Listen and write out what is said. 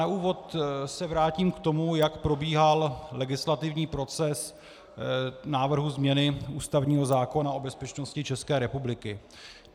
Na úvod se vrátím k tomu, jak probíhal legislativní proces návrhu změny ústavního zákona o bezpečnosti České republiky.